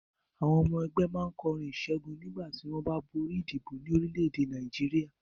Àwọn ọmọ ẹgbẹ́ máa ń kọrin ìṣẹ́gun nígbà tí wọ́n bá borí ìdìbò ní orílẹ̀-èdè Nàìjíríà.